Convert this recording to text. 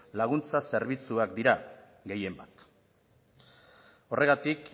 laguntza zerbitzuak dira gehien bat horregatik